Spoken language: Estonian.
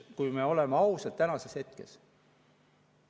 Kui me oleme ausad tänases hetkes.